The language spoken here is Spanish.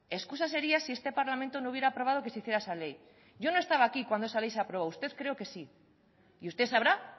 excusa sería si este parlamento no hubiera aprobado que se hiciera esa ley yo no estaba aquí cuando esa ley de se aprobó usted creo que sí y usted sabrá